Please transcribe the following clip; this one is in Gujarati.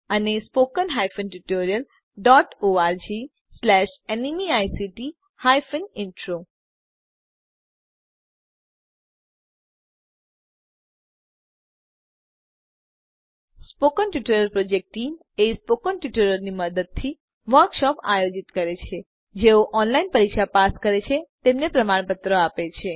સ્પોકન ટ્યુટોરીયલ પ્રોજેક્ટટીમ સ્પોકન ટ્યુટોરીયલોની મદદથી વર્કશોપો આયોજિત કરે છે જેઓ ઓનલાઇન પરીક્ષા પાસ કરે છે તેમને પ્રમાણપત્રો આપે છે